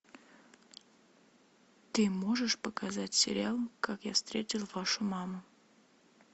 ты можешь показать сериал как я встретил вашу маму